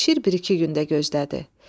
Şir bir-iki gün də gözlədi.